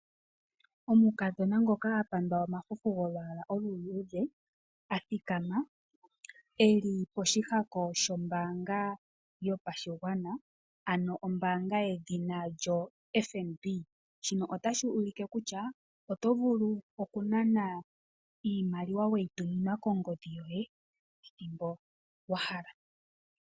Omukadhona ngoka a pandwa omafufu golwaala oluluudhe, a thikama, eli poshihako shombaanga yopashigwana ano ombaanga yedhina lyoFNB. Shino otashi ulike kutya oto vulu okunana iimaliwa weyituminwa kongodhi yoye ethimbo wahala.